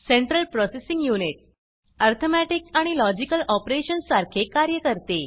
central processing unit arithmeticअर्थमेटिक आणि logical operationsलॉजिकल ऑपरेशन्स सारखे कार्य करते